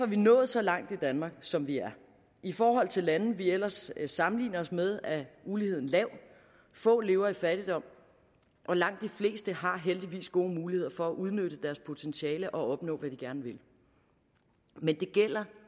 vi nået så langt i danmark som vi er i forhold til lande vi ellers sammenligner os med er uligheden lav få lever i fattigdom og langt de fleste har heldigvis gode muligheder for at udnytte deres potentiale og opnå hvad de gerne vil men det gælder